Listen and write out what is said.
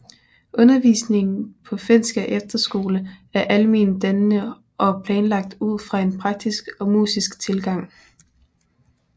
Undervisningen på Fenskær Efterskole er alment dannende og planlagt ud fra en praktisk og musisk tilgang